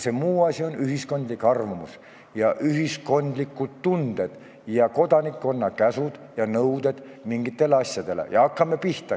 See muu asi on ühiskondlik arvamus, ühiskondlikud tunded ning kodanikkonna käsud ja nõuded mingitele asjadele.